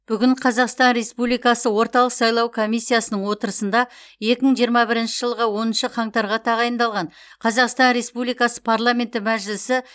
бүгін қазақстан республикасы орталық сайлау комиссиясының отырысында екі мың жиырма бірінші жылғы оныншы қаңтарға тағайындалған қазақстан республикасы парламенті мәжілісі